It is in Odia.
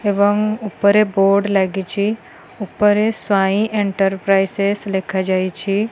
ଏବଂ ଉପରେ ବୋର୍ଡ ଲାଗିଛି ଉପରେ ସ୍ୱାଇଁ ଏଣ୍ଟରପ୍ରାଇସେଶ୍ ଲେଖାଯାଇଛି।